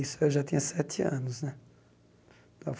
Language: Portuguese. Isso eu já tinha sete anos né.